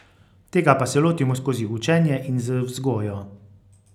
Tega pa se lotimo skozi učenje in z vzgojo.